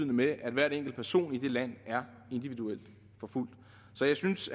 med at hver enkelt person i det land er individuelt forfulgt så jeg synes